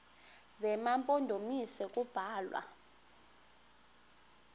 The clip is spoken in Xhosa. zema mpondomise kubalwa